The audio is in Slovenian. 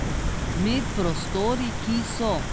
Med prostori, ki so.